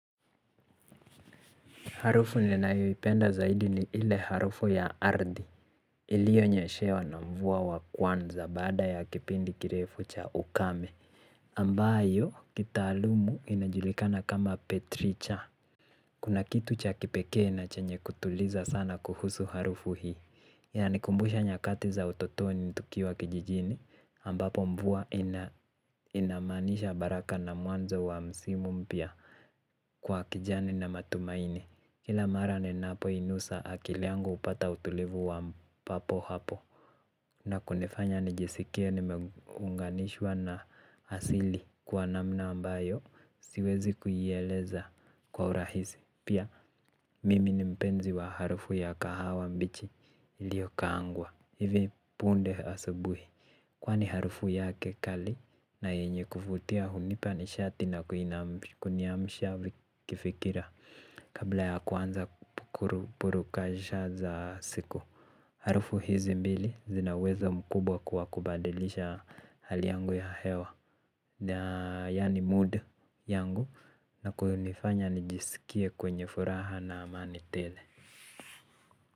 Harufu ninyoipenda zaidi ni ile harufu ya ardhi. Iliyonyeshewa na mvua wa kwanza baada ya kipindi kirefu cha ukame. Ambayo, kitaalumu inajulikana kama petricha. Kuna kitu cha kipeke na chenye kutuliza sana kuhusu harufu hii. Yanikumbusha nyakati za utotoni tukiwa kijijini. Ambapo mvua inamaanisha baraka na mwanzo wa msimu mpya kwa kijani na matumaini. Kila mara ninapo inusa akili yangu hupata utulivu wa papo hapo. Na kunifanya nijisikie nimeunganishwa na asili kwa namna ambayo siwezi kuieleza kwa urahisi. Pia mimi ni mpenzi wa harufu ya kahawa mbichi iliyo kaangwa. Hivi punde asubuhi kwani harufu yake kali na yenye kuvutia hunipa nishati na kuniamisha kifikira. Kabla ya kuanza kukuru kajisha za siku harufu hizi mbili zina uwezo mkubwa kwa kubadilisha hali yangu ya hewa. Na yani mood yangu na kunifanya nijisikie kwenye furaha na amani tele.